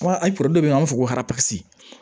A dɔ bɛ yen nɔ an b'a fɔ ko